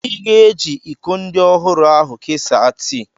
Ị ga-eji iko ndị ọhụrụ ahu kesaa tii